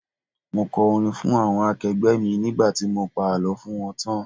Mo kọ orin fún àwọn akẹgbẹ́ mi nígbà tí mo pa àlọ́ fún wọn tán.